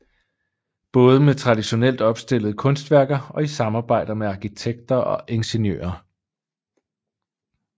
Både med traditionelt opstillede kunstværker og i samarbejder med arkitekter og ingeniører